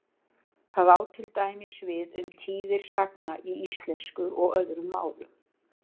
Það á til dæmis við um tíðir sagna í íslensku og öðrum málum.